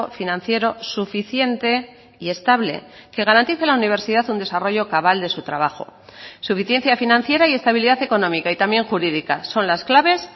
financiero suficiente y estable que garantice la universidad un desarrollo cabal de su trabajo suficiencia financiera y estabilidad económica y también jurídica son las claves